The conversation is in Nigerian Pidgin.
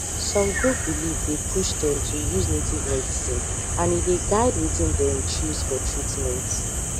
some group belief dey push dem to use native medicine and e dey guide wetin dem choose for treatment